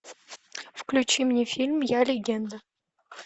включи мне фильм я легенда